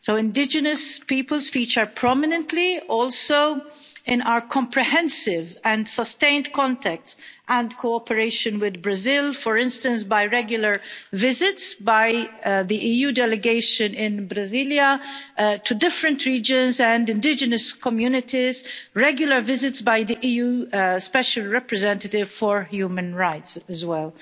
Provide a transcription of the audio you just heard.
Indigenous peoples feature prominently also in our comprehensive and sustained contact and cooperation with Brazil, for instance by regular visits by the EU delegation in Brasília, to different regions and indigenous communities, regular visits by the EU Special Representative for Human Rights as well.